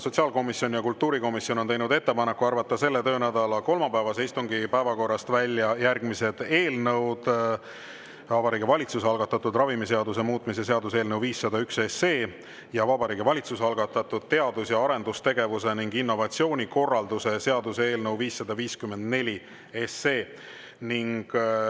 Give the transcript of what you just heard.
Sotsiaalkomisjon ja kultuurikomisjon on teinud ettepaneku arvata selle töönädala kolmapäevase istungi päevakorrast välja järgmised eelnõud: Vabariigi Valitsuse algatatud ravimiseaduse muutmise seaduse eelnõu 501 ja Vabariigi Valitsuse algatatud teadus‑ ja arendustegevuse ning innovatsiooni korralduse seaduse eelnõu 554.